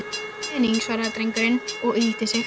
Græða pening- svaraði drengurinn og yggldi sig.